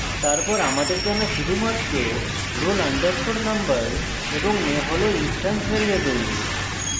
তারপর আমাদের জানা শুধুমাত্র roll _ number এবং name roll instance ভ্যারিয়েবল